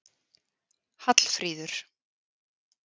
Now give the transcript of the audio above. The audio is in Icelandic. Hallfríður